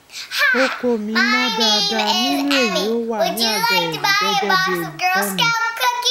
oko mi mọ dáadáa nínú èyí ó wà ní àga èrò gẹgẹ bí olùkọ mi